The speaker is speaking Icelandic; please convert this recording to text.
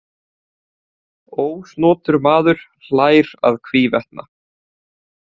Ósnotur maður hlær að hvívetna.